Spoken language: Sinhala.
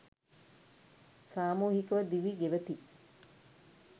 සාමූහිකව දිවි ගෙවති.